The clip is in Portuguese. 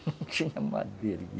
Não tinha madeira.